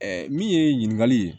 min ye ɲininkali ye